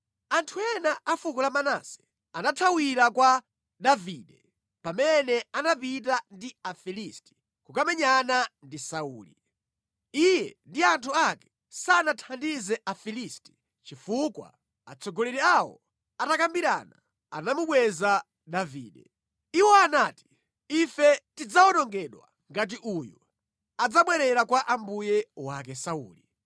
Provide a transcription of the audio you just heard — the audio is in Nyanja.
Anthu ena a fuko la Manase anathawira kwa Davide pamene anapita ndi Afilisti kukamenyana ndi Sauli. (Iye ndi anthu ake sanathandize Afilisti chifukwa, atsogoleri awo atakambirana, anamubweza Davide. Iwo anati, “Ife tidzawonongedwa ngati uyu adzabwerera kwa mbuye wake Sauli).”